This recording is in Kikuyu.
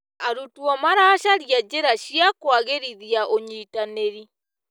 Arutwo maracaria njĩra cia kũagĩrithia ũnyitanĩri.